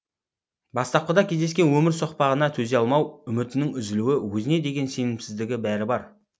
бастапқыда кездескен өмір соқпағына төзе алмау үмітінің үзілуі өзіне деген сенімсіздігі бәрі бар